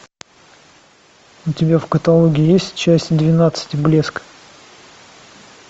у тебя в каталоге есть часть двенадцать блеск